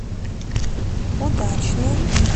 удачным